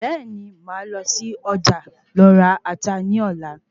Bẹ́ẹ̀ni màá lọ sí Ọjà lọ ra Ata ní Ọ̀la